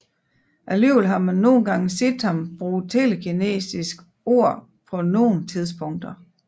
Alligevel har man nogen gange set ham bruge telekinesisk orb på nogen tidspunkter